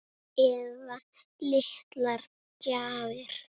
Eða litlar gjafir.